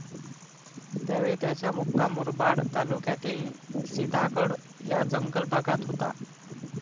त्यावेळी त्यांचा मुक्काम मुरबाड तालुक्यातील सिधागड या जंगल भागात होता.